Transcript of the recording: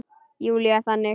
Júlía er þannig.